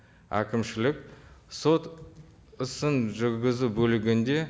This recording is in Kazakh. әкімшілік сот ісін жүргізу бөлігінде